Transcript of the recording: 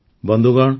ବନ୍ଧୁଗଣ